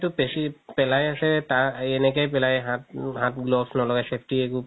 পেলাই আছে তাৰ এনেকে পেলাই হাত, হাত gloves নলই safety একো